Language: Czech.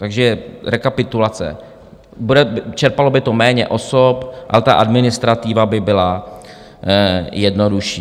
Takže rekapitulace: čerpalo by to méně osob a ta administrativa by byla jednodušší.